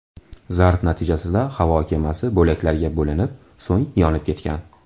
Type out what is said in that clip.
Zarb natijasida havo kemasi bo‘laklarga bo‘linib, so‘ng yonib ketgan.